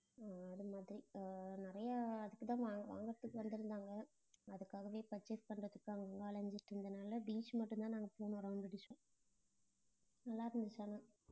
அதுமாதிரி ஆஹ் நிறைய அதுக்குதான் வாங்க~ வாங்கறதுக்கு வந்துருந்தாங்க அதுக்காகவே purchase பண்றதுக்கு அங்க இங்க அலைஞ்சிட்டு இருந்தனால beach மட்டும்தான் நாங்க போனோம் round அடிச்சோம் நல்லா இருந்துச்சு ஆனா